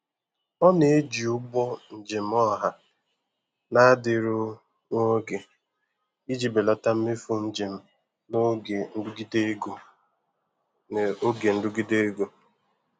Ọ na-eji ụgbọ njem ọha na-adịru nwa oge iji belata mmefu njem n'oge nrụgide ego. n'oge nrụgide ego.